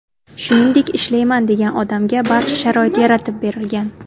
Shuningdek, ishlayman degan odamga barcha sharoit yaratib berilgan.